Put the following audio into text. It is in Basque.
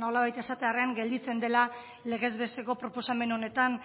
nolabait esatearren gelditzen dela legezbesteko proposamen honetan